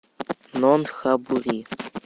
нонтхабури